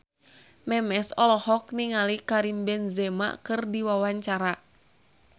Memes olohok ningali Karim Benzema keur diwawancara